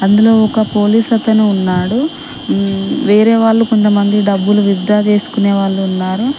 అందులో ఒక పోలీస్ అతను ఉన్నాడు మ్మ్ వేరే వాళ్ళు కొంతమంది డబ్బులు విత్ డ్రా చేసుకొనేవాళ్ళు ఉన్నారు.